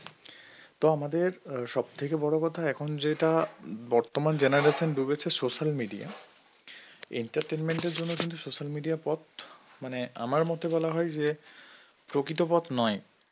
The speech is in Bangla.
তো আমাদের সব থেকে বড় কথা এখন যেটা বর্তমান generation হয়েছে ডুবেছে social media entertainment এর জন্য কিন্তু social media র পথ মানে আমার মতে বলা হয় যে প্রকৃত পথ নয়